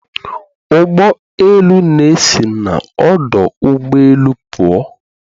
Ụgbọ elu na-esi n'ọdụ ụgbọ elu pụọ